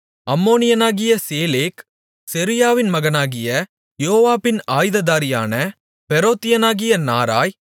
அம்மோனியனாகிய சேலேக் செருயாவின் மகனாகிய யோவாபின் ஆயுததாரியான பெரோத்தியனாகிய நாராய்